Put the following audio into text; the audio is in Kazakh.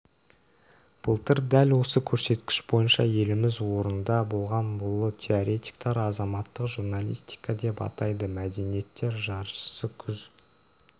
былтыр дәл осы көрсеткіш бойынша еліміз орында болған бұны теоретиктер азаматтық журналистика деп атайды мәдениеттер жаршысы күз